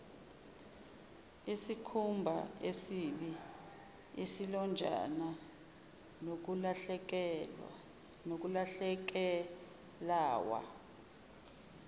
iskhumbaesibi izilonjana nokulahlekelawa